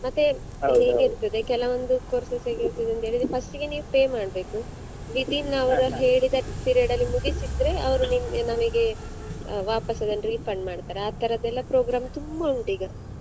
ಹೇಗಿರ್ತದೆ ಕೆಲವೊಂದು courses ಹೇಗಿರ್ತದೆ ಅಂತೆಳಿದ್ರೆ first ಗೆ ನೀವ್ pay ಮಾಡ್ಬೇಕು within ಅವರು ಹೇಳಿದ period ಅಲ್ಲಿ ಮುಗಿಸಿದ್ರೆ ಅವ್ರು ನಿಮಿ~ ನಮಿಗೆ ವಾಪಾಸ್ ಅದನ್ನ refund ಮಾಡ್ತಾರೆ ಆತರದೆಲ್ಲಾ program ತುಂಬ ಉಂಟು ಈಗ.